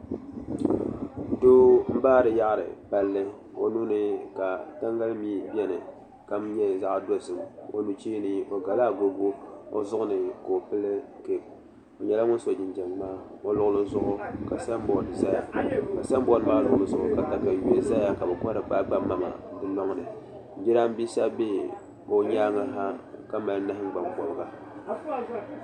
Doo n baari yaɣari palli o nuuni ka tangali mii bɛni ka nyɛ zaɣ dozim o nuchee ni o gala agogo o zuɣu ni ka o pili keep o nyɛla ŋun so jinjɛm ŋmaa o luɣuli zuɣu ka sanbood ʒɛya ka sanbood maa luɣuli zuɣu ka katawiya ʒɛya ka bi kohari kpaakpa maŋa di loŋni jiranbiisa bɛ o nyaangi ha ka mali nahangbaŋ bobli